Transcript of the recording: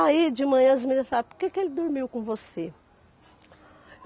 Aí de manhã as meninas falaram, por que que ele dormiu com você?